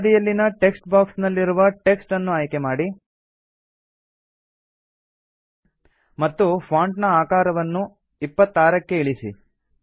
ಎಡಬದಿಯಲ್ಲಿನ text box ನಲ್ಲಿರುವ text ಅನ್ನು ಆಯ್ಕೆ ಮಾಡಿ ಮತ್ತು ಫಾಂಟ್ ನ ಆಕಾರವನ್ನು ೨೬ ಕ್ಕೆ ಇಳಿಸಿ